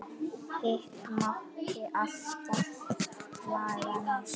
Hitt mátti alltaf laga næst.